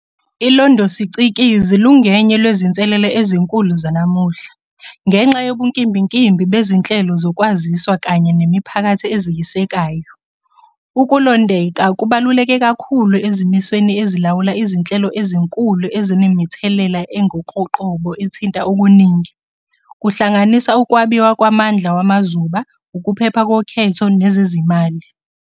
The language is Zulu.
Ilondosicikizi lungenye lwezinselele ezinkulu zanamuhla, ngenxa yobunkimbinkimbi bezinhlelo zokwaziswa kanye nemiphakathi eziyisekayo. Ukulondeka kubaluleke kakhulu ezimisweni ezilawula izinhlelo ezinkulu ezinemithelela engokoqobo ethinta okuningi, kuhlanganisa ukwabiwa kwamandla wamazuba, ukuphepha kokhetho, nezezimali.